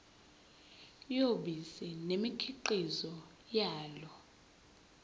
yobisi nemikhiqizo yalo